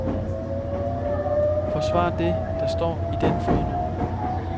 Forsvar det, der står i den fodnote.